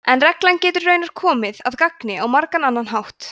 en reglan getur raunar komið að gagni á margan annan hátt